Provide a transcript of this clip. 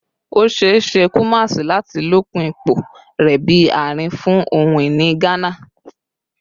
Kumasi is likely to strengthen its position as a center for Ghanaian heritage